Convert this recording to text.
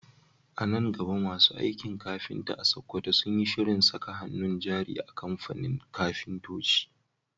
A nan gaba masu aikin kafinta a Sakkwato sun yi shirin saka hannun jari a kamfanin kafintoci